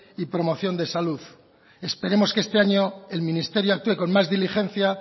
y promoción de salud esperemos que este año el ministerio actúe con más diligencia